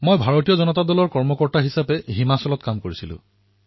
মই ভাৰতীয় জনতা পাৰ্টীৰ সংগঠনৰ কৰ্মী হিচাপে হিমাচল প্ৰদেশত কাম কৰিছিলো